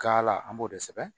Ka la an b'o de sɛbɛn